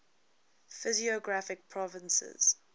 physiographic provinces